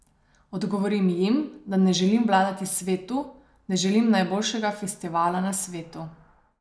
Odgovorim jim, da ne želim vladati svetu, ne želim najboljšega festivala na svetu.